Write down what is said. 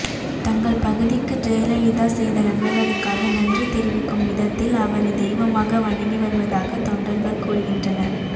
தங்கள் பகுதிக்கு ஜெயலலிதா செய்த நன்மைகளுக்காக நன்றி தெரிவிக்கும் விதத்தில் அவரை தெய்வமாக வணங்கி வருவதாக தொண்டர்கள் கூறுகின்றனர்